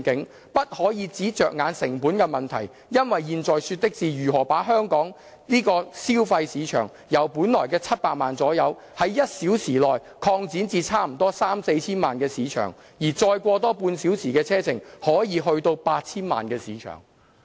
我們不可以只着眼成本的問題，因為現在說的是如何把香港這個所謂消費市場，由我們本來的700萬左右，在1小時內擴展至差不多三四千萬的市場。如果再過個半小時車程，可能去到 8,000 萬的市場"。